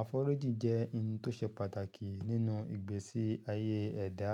Àforíjì jẹ́ n tó ṣe pàtàkì nínú ìgbésí-ayé ẹ̀dá.